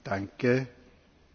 Panie Przewodniczący!